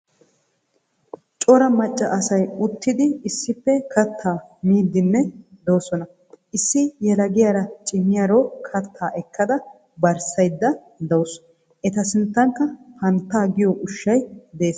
Cora macca asay uttidi issippe kattaa miiddinne doosona. Issi yelagiyara cimiyaro katta ekkada barssayidda dawusu. Eta sinttankka fanta giyo ushshay des.